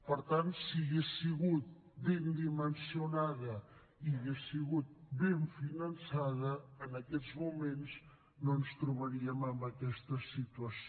per tant si hagués sigut ben dimensionada i hagués sigut ben finançada en aquests moments no ens trobaríem en aquesta situació